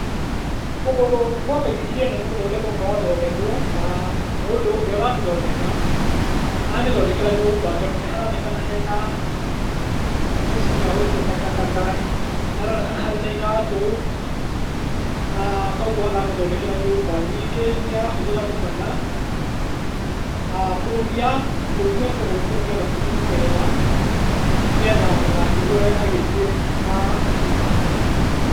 Kũgũrũ gwa baithikiri ĩno nĩgũthondekwo kũrathondekwo, na mũndũ ũrĩa ũramĩthondeka aramĩthondekera nyũmba, tondũ nĩ haronekana hena gabeceni ga gũikia takataka, nĩ haronekana harĩ na iratũ, na kogwo aramĩthondekera nyũmba, ningĩ nĩ arahũthĩra thubana a kũrũmia, kũrũmia kũgũrũ kũu nĩgetha kũnyite wega, nĩgetha ndagakĩgwe agĩthiĩ na akĩmĩhũthĩra.